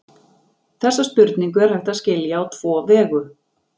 Þessa spurningu er hægt að skilja á tvo vegu.